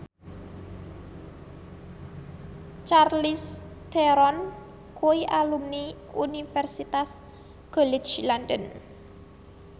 Charlize Theron kuwi alumni Universitas College London